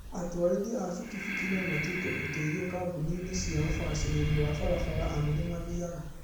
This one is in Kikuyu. Atwarithia a bikibiki nomatuĩke ũteithio kambĩini inĩ cia ũbacĩrĩri wa barabara amu nĩmathiaga